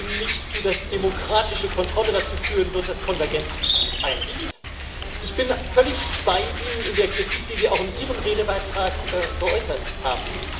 Ich stimme Ihnen nicht zu, dass demokratische Kontrolle dazu führen wird, dass Konvergenz einsetzt. Ich bin völlig bei Ihnen in der Kritik, die Sie auch in Ihrem Redebeitrag geäußert haben.